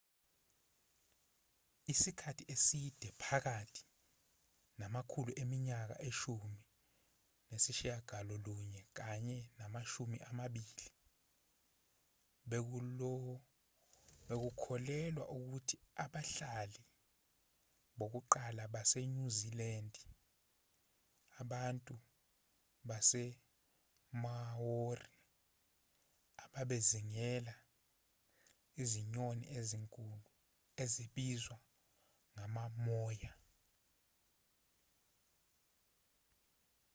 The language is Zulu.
isikhathi eside phakathi namakhulu eminyaka eshumi nesishiyagalolunye kanye namashumi amabili bekukholelwa ukuthi abahlali bokuqala basenyuzilandi abantu basemaori ababezingela izinyoni ezinkulu ezibizwa ngama-moa